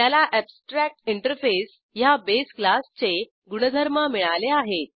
त्याला एब्स्ट्रॅक्टिंटरफेस ह्या बेस क्लासचे गुणधर्म मिळाले आहेत